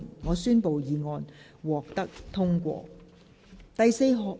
我宣布議案獲得通過。